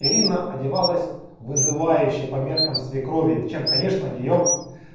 ирина одевалась вызывающе по меркам свекрови чем конечно её